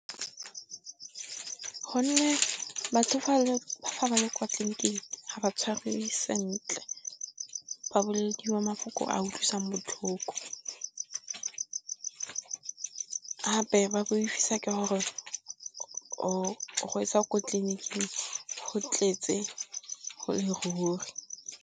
Gonne batho fa ba le kwa tleliniking ga ba tshwarwe sentle, ba bolediwa mafoko a utlwisang botlhoko. Gape ba boifisa ke gore o gwetsa ko tleliniking go tletse go le ruri.